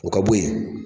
O ka bo yen